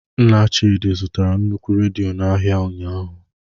Nna Chidi zụtara nnukwu redio n'ahịa ụnyahụ.